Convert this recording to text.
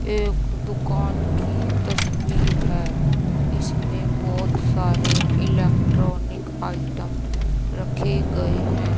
एक दुकान की तस्वीर है इसमें बहुत सारे इलेक्ट्रॉनिक आइटम रखे गए हैं।